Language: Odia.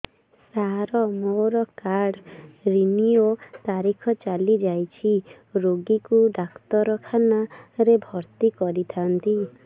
ସାର ମୋର କାର୍ଡ ରିନିଉ ତାରିଖ ଚାଲି ଯାଇଛି ରୋଗୀକୁ ଡାକ୍ତରଖାନା ରେ ଭର୍ତି କରିଥାନ୍ତି